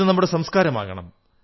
ഇത് നമ്മുടെ സംസ്കാരമാകണം